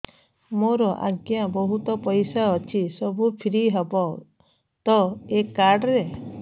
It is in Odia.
ମୋର ଆଜ୍ଞା ବହୁତ ପଇସା ଅଛି ସବୁ ଫ୍ରି ହବ ତ ଏ କାର୍ଡ ରେ